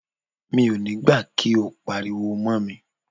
Mi ò ní gbà kí o pariwo mọ́ mi.